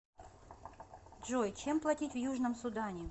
джой чем платить в южном судане